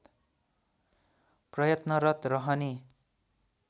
प्रयत्नरत रहने